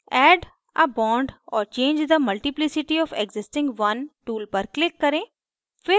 add a bond or change the multiplicity of the existing one tool पर click करें